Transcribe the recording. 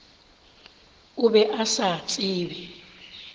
o be a sa tsebe